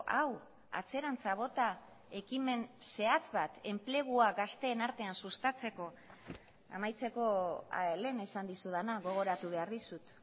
hau atzerantz bota ekimen zehatz bat enplegua gazteen artean sustatzeko amaitzeko lehen esan dizudana gogoratu behar dizut